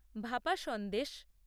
ভাপা সন্দেশ